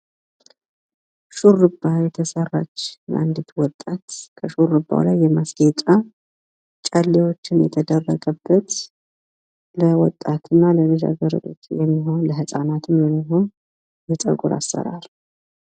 ሹርባ የተሰራች አንዲት ሴት ጨሌ የተደረገበት ለወጣትና ልጃገረድ የሚሆን ፣ለህፃናትም የሚሆን የፀጉር አሰራር።